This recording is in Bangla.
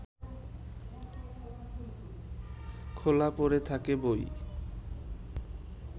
খোলা পড়ে থাকে বই